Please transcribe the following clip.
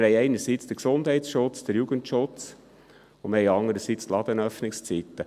Einerseits haben wir den Gesundheitsschutz, den Jugendschutz, und andererseits haben wir die Ladenöffnungszeiten.